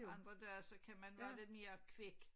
Andre dage så kan man være lidt mere kvik